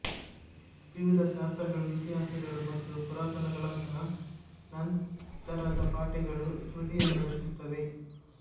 ವಿವಿಧ ಶಾಸ್ತ್ರಗಳು ಇತಿಹಾಸಗಳು ಮತ್ತು ಪುರಾಣಗಳಂತಹ ನಂತರದ ಪಠ್ಯಗಳು ಸ್ಮೃತಿಯನ್ನು ರಚಿಸುತ್ತವೆ